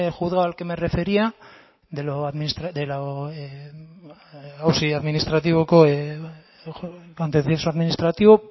juzgado al que me refería de lo contencioso administrativo